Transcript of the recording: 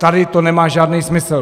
Tady to nemá žádný smysl.